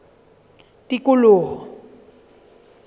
tikoloho